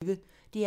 DR P1